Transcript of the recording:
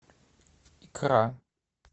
икра